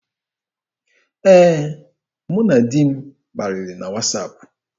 Ee, mụ na di m kparịrị na wasaapụ.